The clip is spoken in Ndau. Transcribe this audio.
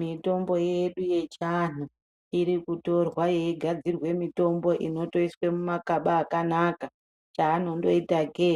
Mitombo yedu yechiantu irikutorwa yeigadzirwe mitombo inotosiswe mumakaba akanaka chaanondoitake